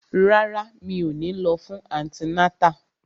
Rárá, mi ò ní lọ fún antinátà